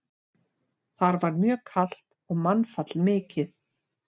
Þar var mjög kalt og mannfall mikið.